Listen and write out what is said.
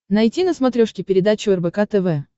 найти на смотрешке передачу рбк тв